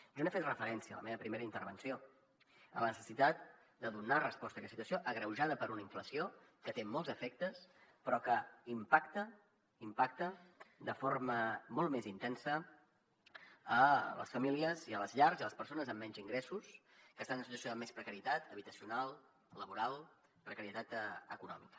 jo n’he fet referència a la meva primera intervenció a la necessitat de donar resposta a aquesta situació agreujada per una inflació que té molts efectes però que impacta impacta de forma molt més intensa a les famílies i a les llars i a les persones amb menys ingressos que estan en situació de més precarietat habitacional laboral precarietat econòmica